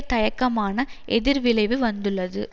தயக்கமான எதிர்விளைவு வந்துள்ளது